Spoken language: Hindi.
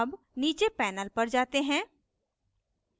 अब नीचे panel पर जाते हैं